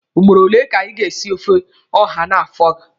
Ugboro ole ka ị ga-esi ofe ọha n'afọ a?